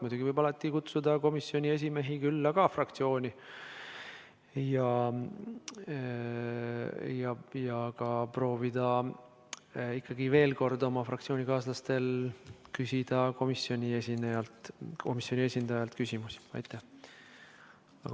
Muidugi võib alati ka komisjoni esimehi fraktsiooni külla kutsuda ja proovida ikkagi veel kord oma fraktsioonikaaslaste kaudu komisjoni esindajale küsimusi esitada.